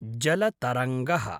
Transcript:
जलतरङ्गः